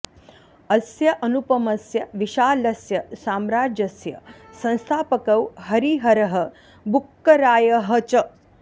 अस्य अनुपमस्य विशालस्य साम्राज्यस्य संस्थापकौ हरिहरः बुक्करायः च